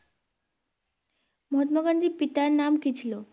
মহাত্মা গান্ধীর পিতার নাম কী ছিল?